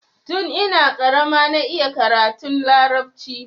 Tun ina karama na iya karatun larabci.